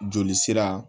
Joli sira